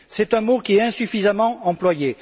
C'est un mot qui est insuffisamment employé.